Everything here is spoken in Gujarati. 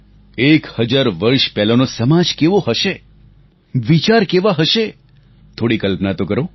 એક હજાર વર્ષ પહેલાનો સમાજ કેવો હશે વિચાર કેવા હશે થોડી કલ્પના તો કરો